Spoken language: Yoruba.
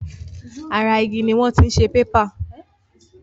Ara igi ni wọ́n ti ń ṣe pépà.